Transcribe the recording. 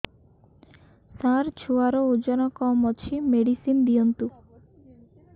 ସାର ଛୁଆର ଓଜନ କମ ଅଛି ମେଡିସିନ ଦିଅନ୍ତୁ